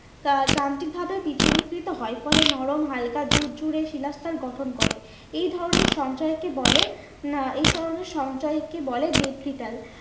আহ যান্ত্রিক ভাবে বিচন্নিকৃত হয় ফলে নরম হালকা ঝুরঝুরে শিলা স্তর গঠন করে। এই ধরনের সঞ্চয়কে বলে আহ এই ধরণের সঞ্চয়কে বলে